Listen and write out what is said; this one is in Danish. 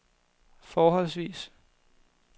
forholdsvis